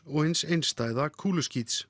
og hins einstæða